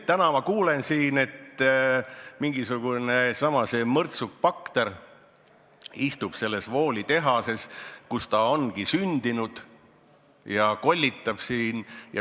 Täna ma kuulen siin, et mingisugune mõrtsukbakter istub selles Wooli tehases, kus ta ongi sündinud, ja kollitab siin.